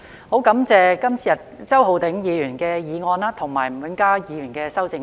我會支持周浩鼎議員的議案及吳永嘉議員的修正案。